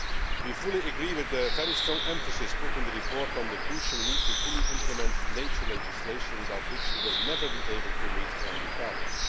We fully agree with the very strong emphasis included in the report on the crucial need to fully implement nature legislation, without which we will never be able to meet our new target.